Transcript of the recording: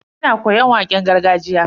Ina koyon waƙen gargajiya.